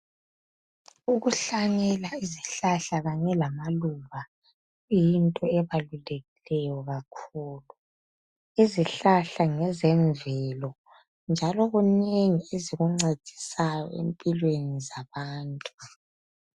Ukuhlanyela izihlahla kanye lamaluba, kuyinto ebalulekileyo kakhulu, izihlahla ngezemvelo njalo kunengi ezikuncedisayo empilweni zabantu.